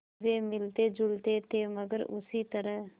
वे मिलतेजुलते थे मगर उसी तरह